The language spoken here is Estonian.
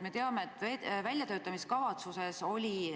Me teame, et väljatöötamiskavatsuses oli